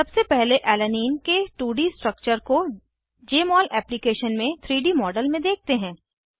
सबसे पहले अलानाइन के 2डी स्ट्रक्चर्स को जमोल एप्लीकेशन में 3डी मॉडल में देखते हैं